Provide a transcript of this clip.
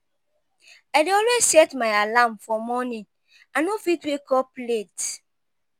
I dey always set my alarm for morning; I no fit wake up late.